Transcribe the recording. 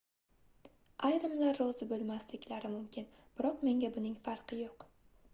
ayrimlar rozi boʻlmasliklari mumkin biroq menga buning farqi yoʻq